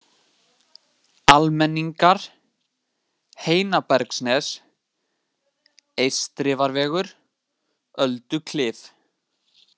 Almenningar, Heinabergsnes, Eystrifarvegur, Ölduklif